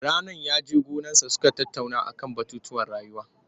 Rannan ya he gonarsa suka tattauna a man batutuwan rayuwa.